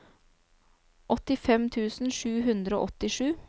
åttifem tusen sju hundre og åttisju